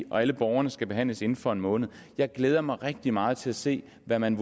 og alle borgerne skal behandles inden for en måned jeg glæder mig rigtig meget til at se hvad man